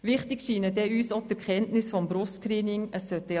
Wichtig scheinen uns auch die Erkenntnisse des Brustkrebs-Screenings.